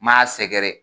M'a sɛgɛrɛ